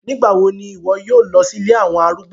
Nigbawo ni iwọ yoo lọ si ilé awọn arúgbó?